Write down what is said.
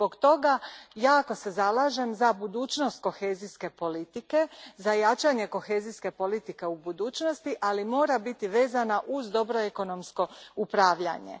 Zbog toga, jako se zalažem za budućnost Kohezijske politike, za jačanje kohezijske politike u budućnosti, ali ona mora biti vezana uz dobro ekonomsko upravljanje.